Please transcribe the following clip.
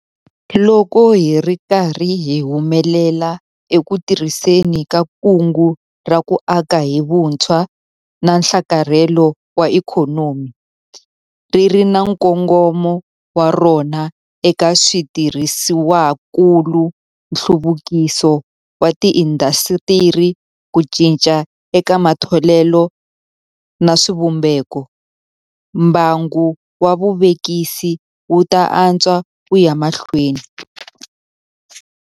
Loko hi ri karhi hi humelela eku tirhiseni ka Kungu ra ku Aka hi Vutshwa na Nhlakarhelo wa Ikhonomi - ri ri na nkongomo wa rona eka switirhisiwakulu, nhluvukiso wa tiindasitiri, ku cinca eka matholelo na swivumbeko - mbangu wa vuvekisi wu ta antswa ku ya emahlweni.